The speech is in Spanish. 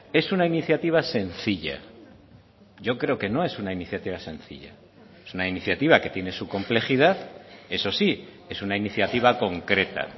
es una iniciativa sencilla yo creo que no es una iniciativa sencilla es una iniciativa que tiene su complejidad eso sí es una iniciativa concreta